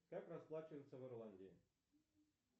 как расплачиваться в ирландии